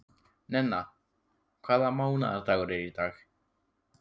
Nenna, hvaða mánaðardagur er í dag?